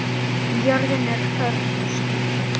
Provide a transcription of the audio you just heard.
Jörðin er hörð og skítug.